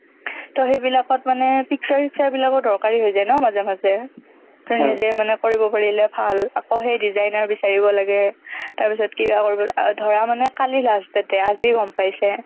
তহ সেইবিলাকত মানে picture চিক্সাৰবিলাকো দৰকাৰ হৈ যায় ন মাজে মাজে তই নিজেই মানে কৰিব পাৰিলে ভাল আকৌ সেই designer বিচাৰিব লাগে তাৰপিছত কিবা কৰি ধৰা মানে কালি last date এই আজি গম পাইছে